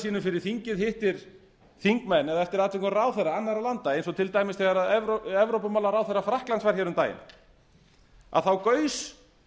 sínum fyrir þingið hittir þingmenn eða eftir atvikum ráðherra annarra landa eins og til dæmis þegar evrópumálaráðherra frakklands var hér um daginn þá gaus